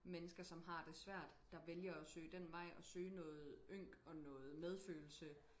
mennesker som har det svært der vælger og søge den vej og søge noget ynk og noget medfølelse